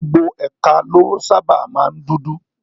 Gbogbo ẹ̀ka ló sábàa máa ń dúdú